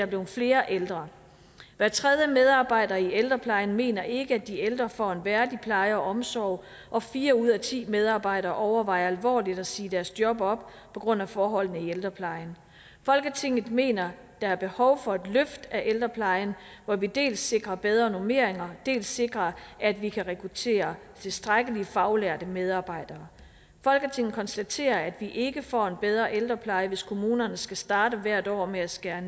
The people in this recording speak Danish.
blevet flere ældre hver tredje medarbejder i ældreplejen mener ikke at de ældre får en værdig pleje og omsorg og fire ud af ti medarbejdere overvejer alvorligt at sige deres job op på grund af forholdene i ældreplejen folketinget mener der er behov for et løft af ældreplejen hvor vi dels sikrer bedre normeringer dels sikrer at vi kan rekruttere tilstrækkelig med faglærte medarbejdere folketinget konstaterer at vi ikke får en bedre ældrepleje hvis kommunerne skal starte hvert år med at skære